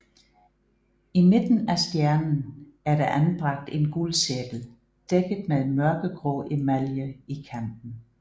I midten af stjernen er der anbragt en guldcirkel dækket med mørkegrå emalje i kanten